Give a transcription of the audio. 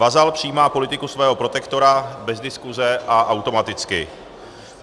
Vazal přijímá politiku svého protektora bez diskuse a automaticky.